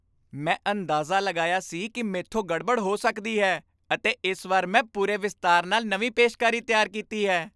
ਮੈਂ ਅੰਦਾਜ਼ਾ ਲਗਾਇਆ ਸੀ ਕਿ ਮੈਥੋਂ ਗੜਬੜ ਹੋ ਸਕਦੀ ਹੈ ਅਤੇ ਇਸ ਵਾਰ ਮੈਂ ਪੂਰੇ ਵਿਸਤਾਰ ਨਾਲ ਨਵੀਂ ਪੇਸ਼ਕਾਰੀ ਤਿਆਰ ਕੀਤੀ ਹੈ।